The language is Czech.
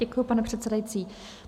Děkuji, pane předsedající.